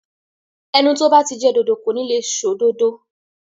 Ẹnu tó bá ti jẹ dòdò kò ní le sọ òdodo.